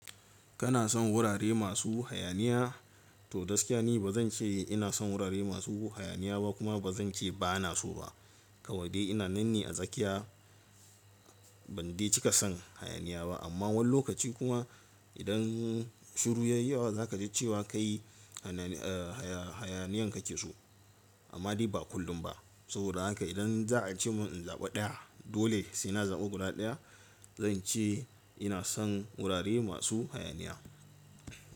Kana son wurare masu hayaniya? To gaskiya ne ba zan ce ina son wurare masu hayaniya ba kuma ba zan ce ba na so ba. Kawai dai ina nan ne a tsakiya ban dai cika son hayaniya ba amma wani lokaci kuma idan shiru ya yi yawa za ka ji cewa ka yi hayaniyan ka ke so amma dai ba kullum ba. Saboda haka idan za a ce mun in zaɓa ɗaya dole sai na zaɓi guda ɗaya zan ce ina son wurare masu hayaniya.